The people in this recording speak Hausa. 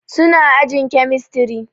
Su na ajin kemistri